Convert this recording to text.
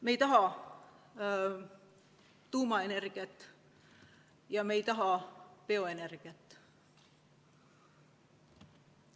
Me ei taha tuumaenergiat ja me ei taha bioenergiat.